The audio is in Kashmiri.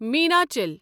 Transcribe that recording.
میناچل